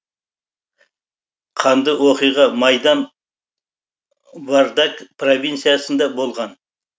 қанды оқиға майдан вардак провинциясында болған